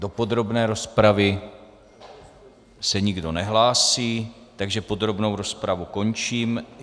Do podrobné rozpravy se nikdo nehlásí, takže podrobnou rozpravu končím.